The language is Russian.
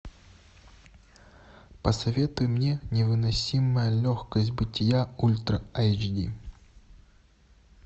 посоветуй мне невыносимая легкость бытия ультра айч ди